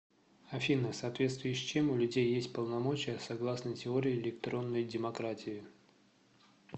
афина в соответствии с чем у людей есть полномочия согласно теории электронной демократии